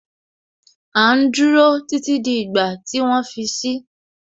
À ń dúró títí di ìgbà tí wọ́n fi si